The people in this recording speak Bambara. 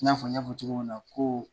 I na fɔ n y'a fɔ cogo min na ko